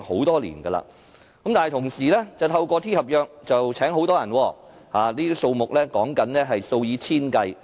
但是，政府同時透過 T 合約聘請很多人，所說的數目是數以千計。